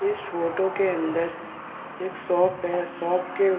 इस फोटो के अंदर एक शॉप है शॉप के --